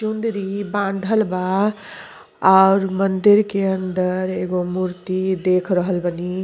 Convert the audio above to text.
टुंड्री बांधल बा और मंदिर के अंदर एगो मूर्ति देख रहल बनी।